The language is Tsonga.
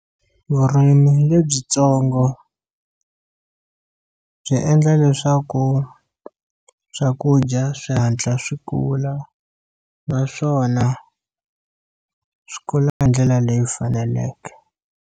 Vurimi lebyitsongo byi endla leswaku swakudya swi hatla swi kula naswona swi kula hi ndlela leyi faneleke.